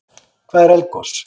Hvað er eldgos?